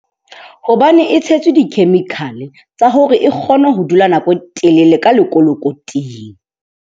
Hobane e tshetswe di-chemical-e tsa hore e kgone ho dula nako e telele ka lekolokoting.